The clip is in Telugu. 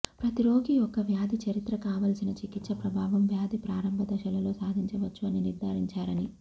ప్రతి రోగి యొక్క వ్యాధి చరిత్ర కావలసిన చికిత్స ప్రభావం వ్యాధి ప్రారంభ దశలలో సాధించవచ్చు అని నిర్ధారించారని